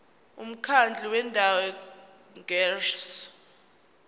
umkhandlu wendawo ngerss